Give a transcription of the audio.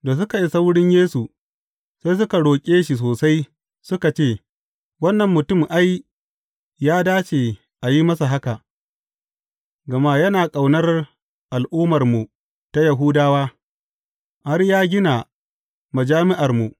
Da suka isa wurin Yesu, sai suka roƙe shi sosai, suka ce, Wannan mutum, ai, ya dace a yi masa haka, gama yana ƙaunar al’ummarmu ta Yahudawa, har ya gina majami’armu.